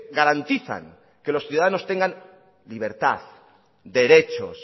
garantizan que los ciudadanos tengan libertad derechos